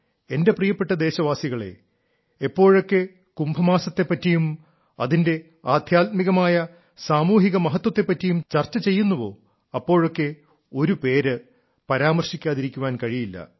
എന്റെ പ്രിയപ്പെട്ട ദേശവാസികളേ എപ്പോഴൊക്കെ കുംഭമാസത്തെ പറ്റിയും അതിന്റെ ആദ്ധ്യാത്മികമായ സാമൂഹിക മഹത്വത്തെ പറ്റിയും ചർച്ച ചെയ്യുന്നുവോ അപ്പോഴൊക്കെ ഒരു പേര് പരാമർശിക്കാതിരിക്കാൻ കഴിയില്ല